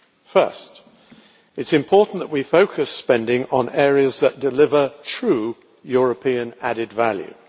First, it is important that we focus spending on areas that deliver true European added value.